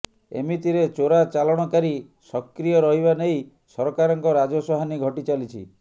ଏମିତିରେ ଚୋରା ଚାଲାଣକାରୀ ସକ୍ରୀୟ ରହିବା ନେଇ ସରକାରଙ୍କ ରାଜସ୍ୱ ହାନି ଘଟି ଚାଲିଛି